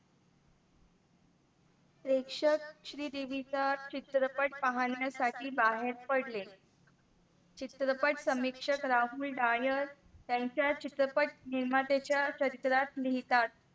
प्रेषक श्रीदेवीच्या चित्रपट पाहण्यासाठी बाहेर पडले. चित्रपट समीक्षण राहुल डायल यांचा चित्रपट निर्माते च्या चरित्रात लिहितात.